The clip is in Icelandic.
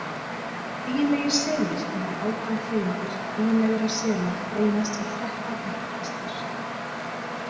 Eiginlegir selir Hinar átján tegundir eiginlegra sela greinast í þrettán ættkvíslir.